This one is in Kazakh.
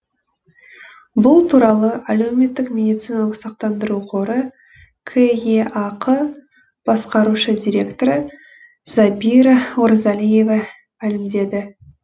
бұл туралы әлеуметтік медициналық сақтандыру қоры кеақ басқарушы директоры забира оразалиева мәлімдеді